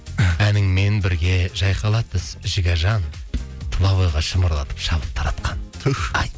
әніңмен бірге жайқалады жігержан тұлабойға шымырлатып шабыт таратқан түһ ай